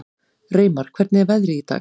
Reimar, hvernig er veðrið í dag?